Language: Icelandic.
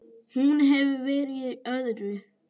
Hún hefur verið í öðru.